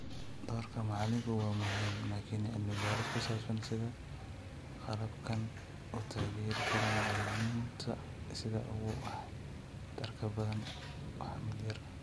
Doorka macalinku waa muhiim, laakiin cilmi baaris ku saabsan sida qalabkani u taageeri karo macalimiinta sida ugu waxtarka badan waa mid yar.